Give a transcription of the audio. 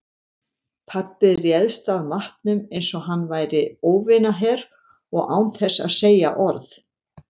Pabbi réðst að matnum einsog hann væri óvinaher og án þess að segja orð.